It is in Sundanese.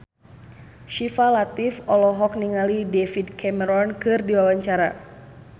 Syifa Latief olohok ningali David Cameron keur diwawancara